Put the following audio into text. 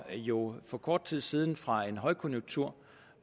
jo for kort tid siden fra en højkonjunktur